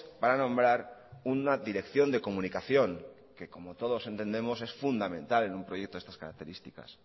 para nombrar una dirección de comunicación que como todos entendemos es fundamental en un proyecto de estas características